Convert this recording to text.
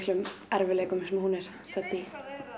erfiðleikum sem hún er í